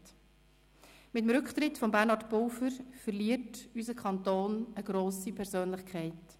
Mit dem Rücktritt von Bernhard Pulver verliert unser Kanton eine grosse Persönlichkeit.